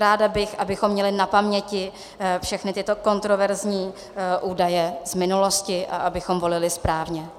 Ráda bych, abychom měli na paměti všechny tyto kontroverzní údaje z minulosti a abychom volili správně.